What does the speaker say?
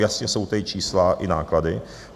Jasně jsou tady čísla i náklady.